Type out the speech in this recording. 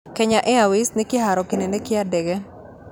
Kenya airways nĩ kĩhaaro kinene kĩa ndege